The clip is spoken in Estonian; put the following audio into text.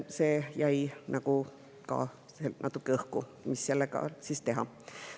See jäi ka natuke õhku, mis sellega siis teha.